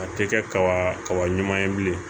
A tɛ kɛ kaba kaba ɲuman ye bilen